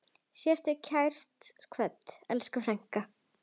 Sértu kært kvödd, elsku frænka.